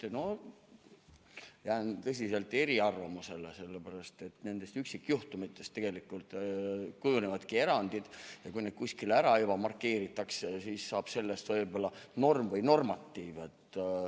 No jään tõsiselt eriarvamusele, sellepärast et nendest üksikjuhtumitest tegelikult kujunevadki erandid ja kui need juba kuskil ära markeeritakse, siis saab sellest võib-olla norm või normatiiv.